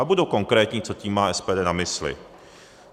A budu konkrétní, co tím má SPD na mysli.